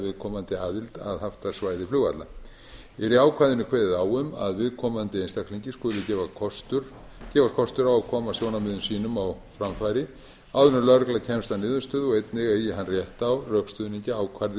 viðkomandi aðild að haftasvæði flugvalla er í ákvæðinu kveðið á um að viðkomandi einstaklingi skuli gefinn kostur á að koma sjónarmiðum sínum á framfæri áður en lögregla kemst að niðurstöðu og einnig eigi hann rétt á rökstuðningi ákvarði